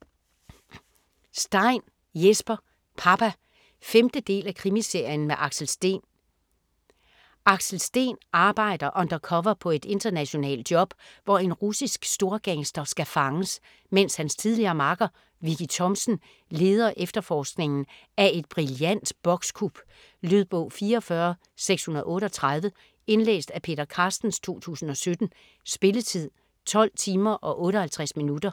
Stein, Jesper: Papa 5. del af Krimiserien med Axel Steen. Axel Steen arbejder undercover på et internationalt job, hvor en russisk storgangster skal fanges, mens hans tidligere makker, Vicki Thomsen, leder efterforskningen af et brillant bokskup. Lydbog 44638 Indlæst af Peter Carstens, 2017. Spilletid: 12 timer, 58 minutter.